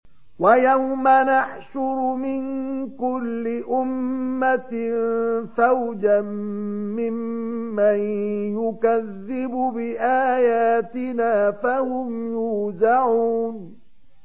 وَيَوْمَ نَحْشُرُ مِن كُلِّ أُمَّةٍ فَوْجًا مِّمَّن يُكَذِّبُ بِآيَاتِنَا فَهُمْ يُوزَعُونَ